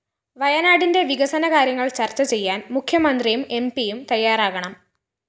വയനാടിന്റെ വികസന കാര്യങ്ങള്‍ ചര്‍ച്ച ചെയ്യാന്‍ മുഖ്യമന്ത്രിയും എംപിയും തയ്യാറാകണം